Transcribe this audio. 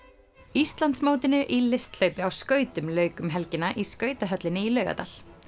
Íslandsmótinu í á skautum lauk um helgina í skautahöllinni í Laugardal